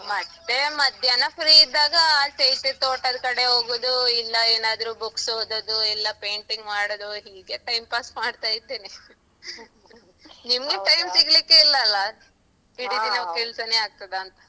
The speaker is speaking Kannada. ಮತ್ತೆ ಮಧ್ಯಾಹ್ನ free ಇದ್ದಾಗ ಆಚೆ ಈಚೆ ತೋಟದ್ಕಡೆ ಹೋಗುದು ಇಲ್ಲ ಏನಾದ್ರು books ಓದೋದು ಇಲ್ಲ painting ಮಾಡೋದು ಹೀಗೆ time pass ಮಾಡ್ತಾಯಿದ್ದೇನೆ ನಿಮ್ಗೆ time ಸಿಗ್ಲಿಕ್ಕೆ ಇಲ್ಲ ಅಲ್ಲ. ಇಡೀ ದಿನ ಕೆಲ್ಸನೆ ಆಗ್ತದಾಂತ.